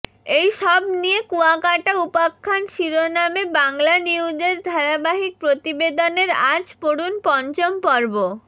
এইসব নিয়ে কুয়াকাটা উপাখ্যান শিরোনামে বাংলানিউজের ধারাবাহিক প্রতিবেদনের আজ পড়ুন পঞ্চম পর্ব